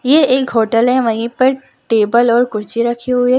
ये एक होटल है वहीं पर टेबल और कुर्सी रखी हुई हैं।